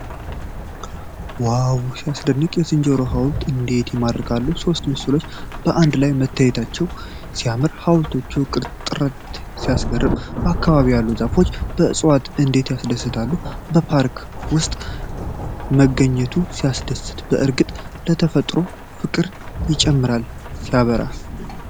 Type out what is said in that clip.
ዋው ሲያስደንቅ! የዝንጀሮ ሐውልቶች እንዴት ይማርካሉ! ሦስቱ ምስሎች በአንድ ላይ መታየታቸው ሲያምር! የሐውልቶቹ ቅርጽ ጥራት ሲያስገርም! በአካባቢው ያሉ ዛፎችና ዕፅዋት እንዴት ያስደስታሉ! በፓርክ ውስጥ መገኘቱ ሲያስደስት! በእርግጥ ለተፈጥሮ ፍቅር ይጨምራል! ሲያበራ!